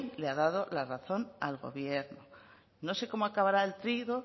le ha dado la razón al gobierno no sé cómo acabará el